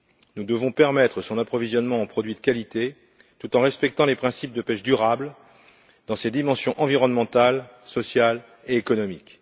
Nous devons donc permettre son approvisionnement en produits de qualité tout en respectant les principes de pêche durable dans ses dimensions environnementale, sociale et économique.